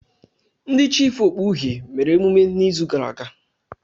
Ndị chiịfụ okpu uhie mere emume n'izu gara aga.